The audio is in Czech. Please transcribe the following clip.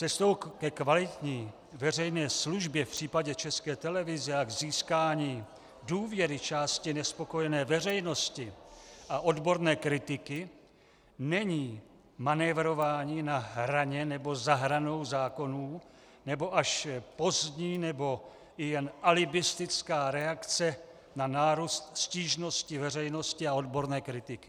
Cestou ke kvalitní veřejné službě v případě České televize a k získání důvěry části nespokojené veřejnosti a odborné kritiky není manévrování na hraně nebo za hranou zákonů, nebo až pozdní nebo i jen alibistická reakce na nárůst stížností veřejnosti a odborné kritiky.